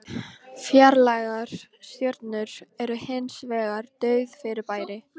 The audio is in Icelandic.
Fjarlægar stjörnur eru hins vegar dauf fyrirbæri.